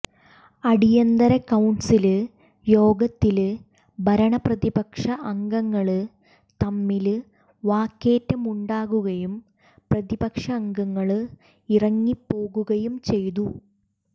അടിയന്തര കൌണ്സില് യോഗത്തില് ഭരണ പ്രതിപക്ഷ അംഗങ്ങള് തമ്മില് വാക്കേറ്റമുണ്ടാകുകയും പ്രതിപക്ഷ അംഗങ്ങള് ഇറങ്ങിപ്പോകുകയും ചെയ്തു